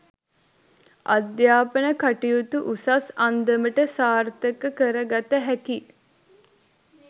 අධ්‍යාපන කටයුතු උසස් අන්දමට සාර්ථක කරගත හැකි